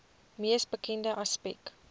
mees bekende aspek